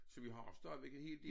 Så vi har stadigvæk en hel del